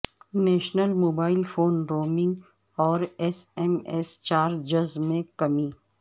national mobile phone roaming اور S M S charges میں کمی